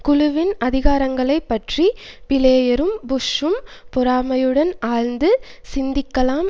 குழுவின் அதிகாரங்களை பற்றி பிளேயரும் புஷ்ஷும் பொறாமையுடன் ஆழ்ந்து சிந்திக்கலாம்